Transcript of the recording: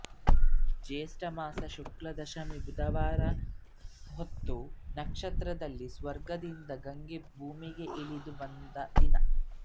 ಜ್ಯೇಷ್ಠ ಮಾಸ ಶುಕ್ಲದಶಮೀ ಬುಧವಾರ ಹಸ್ತ ನಕ್ಷತ್ರದಲ್ಲಿ ಸ್ವರ್ಗದಿಂದ ಗಂಗೆ ಭೂಮಿಗೆ ಇಳಿದು ಬಂದ ದಿನ